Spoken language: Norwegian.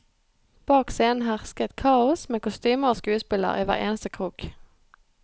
Bak scenen hersket kaos, med kostymer og skuespillere i hver eneste krok.